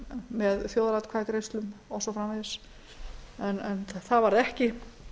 með þjóðaratkvæðagreiðslum og svo framvegis en það varð ekki